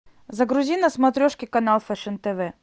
загрузи на смотрешке канал фэшн тв